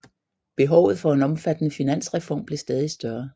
Behovet for en omfattende finansreform blev stadig større